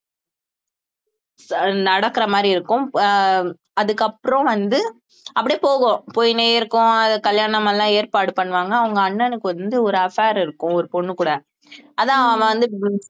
அஹ் நடக்கற மாதிரி இருக்கும் அஹ் அதுக்கப்புறம் வந்து அப்படியே போகும் போய்க்கினே இருக்கும் கல்யாணம் எல்லாம் ஏற்பாடு பண்ணுவாங்க அவங்க அண்ணனுக்கு வந்து ஒரு affair இருக்கும் ஒரு பொண்ணு கூட அதான் அவன் வந்து